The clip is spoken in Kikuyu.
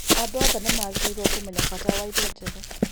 Andũ othe nĩ magĩrĩirũo kũmenya bata wa irio njega.